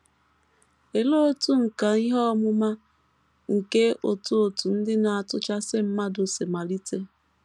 Olee otú nkà ihe ọmụma nke òtù òtù Ndị Na - atụchasị Mmadụ si malite?